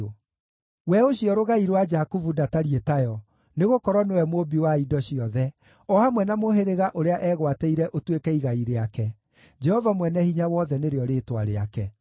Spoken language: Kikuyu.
We ũcio Rũgai rwa Jakubu ndatariĩ tayo, nĩgũkorwo nĩwe Mũũmbi wa indo ciothe, o hamwe na mũhĩrĩga ũrĩa eegwatĩire ũtuĩke igai rĩake; Jehova Mwene-Hinya-Wothe nĩrĩo rĩĩtwa rĩake.